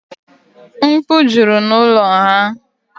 Mkpu jụrụ n'ụlọ ha.